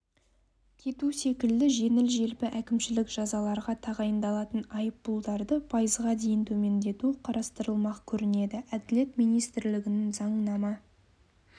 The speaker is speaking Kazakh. кету секілді жеңіл-желпі әкімшілік жазаларға тағайындалатын айыппұлдарды пайызға дейін төмендету қарастырылмақ көрінеді әділет министрлігінің заңнама